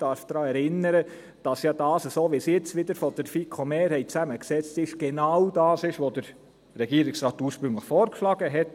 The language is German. Ich darf daran erinnern, dass es so, wie es jetzt wieder von der FiKo-Mehrheit zusammengesetzt ist, genau das ist, was der Regierungsrat ursprünglich vorgeschlagen hat.